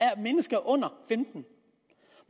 af mennesker under femten